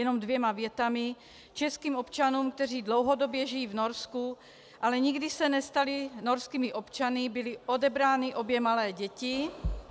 Jenom dvěma větami: Českým občanům, kteří dlouhodobě žijí v Norsku, ale nikdy se nestali norskými občany, byly odebrány obě malé děti -